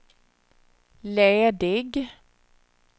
ledig